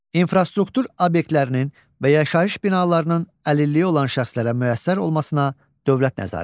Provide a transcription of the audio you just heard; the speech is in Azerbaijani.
İnfrastruktur obyektlərinin və yaşayış binalarının əlilliyi olan şəxslərə müəssər olmasına dövlət nəzarəti.